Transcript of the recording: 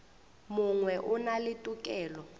mongwe o na le tokelo